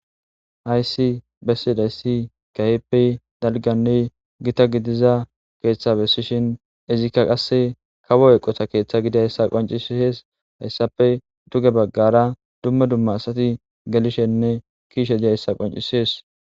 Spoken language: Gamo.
Haysi bessidayssi kaheppe dalganne gita gidiza keeththa bessishin izikka qasse kawo eqota keeththa gidayssa qoncishees hayssape duge baggara dumme dumma asati gelishenne kiishe diyayssa qoncisees.